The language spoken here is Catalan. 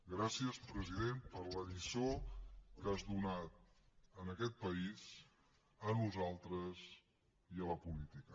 gràcies president per la lliçó que has donat a aquest país a nosaltres i a la política